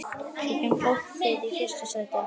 Setjum fólkið í fyrsta sæti.